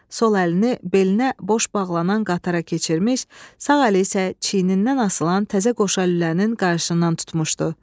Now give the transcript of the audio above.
Sol əlini belinə boş bağlanan qatara keçirmiş, sağ əli isə çiynindən asılan təzə qoşa lülənin qarşısından tutmuşdu.